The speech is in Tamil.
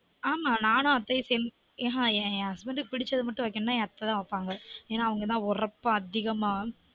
ஆமா நானும் அத்தையும் சேர்ந்து தான் ஆஹான் என் என் husband க்கு புடுச்சது மட்டும் வைக்கனுனா என் அத்தை தான் வைப்பாங்க ஒரப்பா அதிகமா